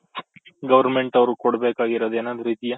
government ಅವ್ರು ಕೊಡ್ಬೇಕಾಗಿರೋದು ಏನಾದ್ರು ಇದಿಯ?